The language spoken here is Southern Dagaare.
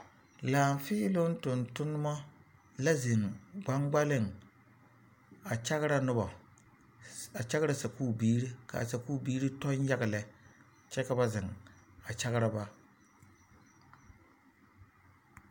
Laafiiloŋ tontonma la zeŋ gbaŋgbaleŋ a kyagra noba a kyagra sakuuri biiri ka a sakubiiri kyɔŋ yaga lɛ kyɛ ka ba zeŋ a kyagra ba.